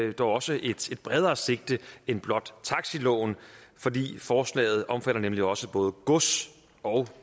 har dog også et bredere sigte end blot taxiloven fordi forslaget omfatter nemlig også både gods og